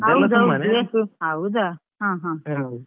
ಹೌದಾ ಹಾ ಹಾ.